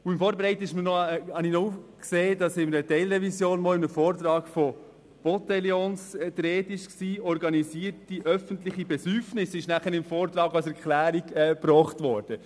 Bei der Vorbereitung habe ich gesehen, dass im Vortrag zur Teilrevision von Botellones die Rede war, von «organisierten öffentlichen Besäufnissen», wie es im Vortrag erklärt wurde.